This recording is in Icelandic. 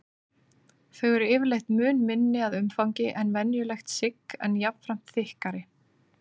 Þau eru yfirleitt mun minni að umfangi en venjulegt sigg en jafnframt þykkari.